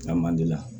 A man di la